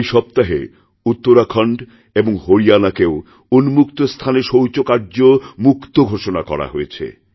এই সপ্তাহে উত্তরাখণ্ড এবং হরিয়ানাকেও উন্মুক্তস্থানে শৌচকার্যমুক্ত ঘোষণা করা হয়েছে